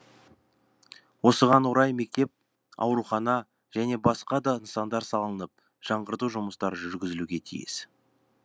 осыған орай мектеп аурухана және басқа да нысандар салынып жаңғырту жұмыстары жүргізілуге тиіс